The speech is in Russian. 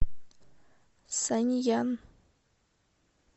сянъян